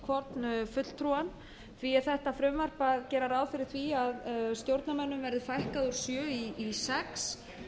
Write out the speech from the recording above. hvorn fulltrúann því er þetta frumvarp að gera ráð fyrir því að stjórnarmönnum verði fækkað úr sjö i sex